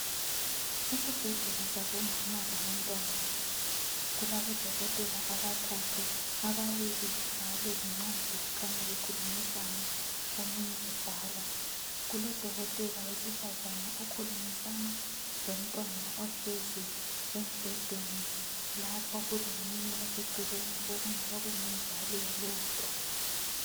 Esibhedlela sabomama labantwana, kulabodokotela abathathu. Ababili babhala izincwadi kukhanya bekhulumisana omunye ebhala. Kulodokotela wesifazana okhulumisana lomntwana ohlezi embhedeni. Lapha kulomunye osecelen okungaba kungumzali walomntwana.